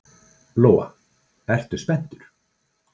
Lóa: Ertu spenntur?